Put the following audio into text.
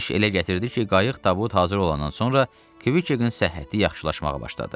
İş elə gətirdi ki, qayıq tabut hazır olandan sonra Kviçekin səhhəti yaxşılaşmağa başladı.